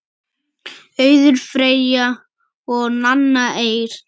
Auður Freyja og Nanna Eir.